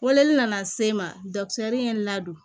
Weleli nana se n ma ye n ladon